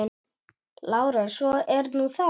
LÁRUS: Svo er nú það.